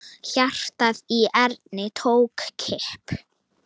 Hjartað í Erni tók kipp.